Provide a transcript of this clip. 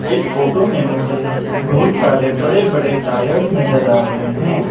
इस फोटो में मुझे बहुत सारे बड़े बड़े टायर्स नजर आ रहे हैं।